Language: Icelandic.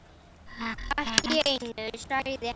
Allt í einu sagði hann